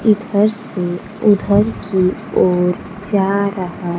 इधर से उधर की ओर जा रहा--